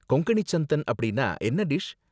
கொங்கணி சந்தன் அப்படின்னா என்ன டிஷ்?